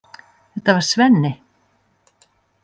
Þetta var Svenni.